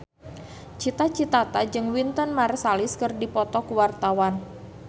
Cita Citata jeung Wynton Marsalis keur dipoto ku wartawan